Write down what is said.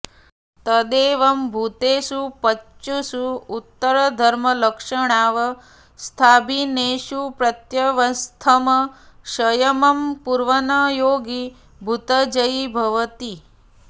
तदेवं भूतेषु पञ्चसु उक्तधर्मलक्षणावस्थाभिन्नेषु प्रत्यवस्थं संयमं कुर्वन् योगी भूतजयी भवति